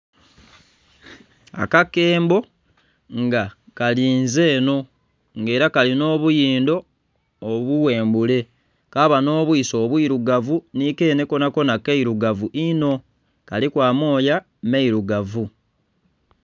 Akakembo nga kalinze enho, nga era kalina obuyindo obughembule, kaba n'obwiso obwirugavu nhi kenhe konakona kairugavu inho, kaliku amooya mailugavu.